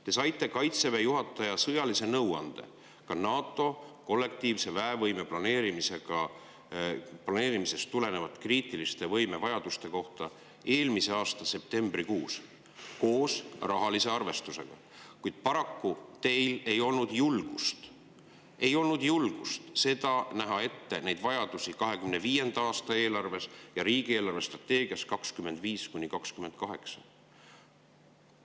Te saite Kaitseväe juhataja sõjalise nõuande kriitiliste võimevajaduste kohta, ka NATO kollektiivse väevõime planeerimisest tulenevalt, eelmise aasta septembrikuus koos rahalise arvestusega, kuid paraku ei olnud teil julgust näha neid vajadusi ette 2025. aasta eelarves ja riigi eelarvestrateegias 2025–2028.